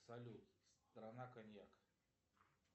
салют страна коньяк